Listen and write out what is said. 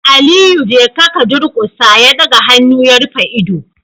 Aliyu jeka ka durkusa, ya daga hannu ya rufe ido